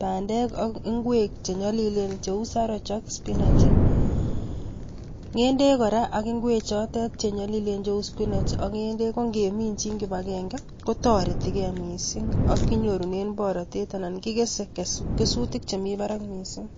bandek ak ngwek chenyolilen kou saroch spinach, ng'endek kora ak spinach kongeminjin kibagenge kotoreti kei missing ak kinyorunen borotet missing ak kekese rurutik chemi barak missing.